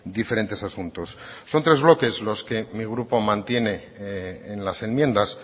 diferentes asuntos son tres bloques los que mi grupo mantiene en las enmiendas